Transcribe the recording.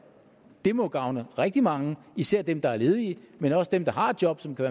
det må gavne rigtig mange især dem der er ledige men også dem der har job som kan